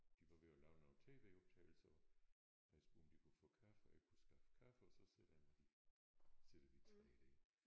De var ved at lave nogle tv-optagelser og havde spurgt om de kunne få kaffe og jeg kunne skaffe kaffe og så sætter jeg mig lige sidder vi 3 der